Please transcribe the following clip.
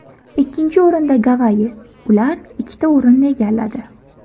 Ikkinchi o‘rinda Gavayi ular ikkita o‘rinni egalladi.